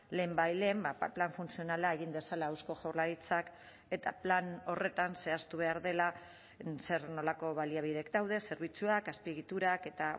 lehenbailehen plan funtzionala egin dezala eusko jaurlaritzak eta plan horretan zehaztu behar dela zer nolako baliabideak daude zerbitzuak azpiegiturak eta